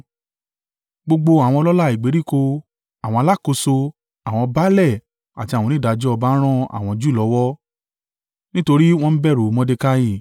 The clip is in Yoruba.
Gbogbo àwọn ọlọ́lá ìgbèríko, àwọn alákòóso, àwọn baálẹ̀ àti àwọn onídàájọ́ ọba ran àwọn Júù lọ́wọ́, nítorí wọ́n bẹ̀rù u Mordekai.